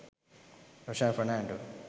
roshan fernando